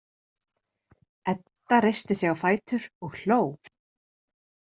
Edda reisti sig á fætur og hló.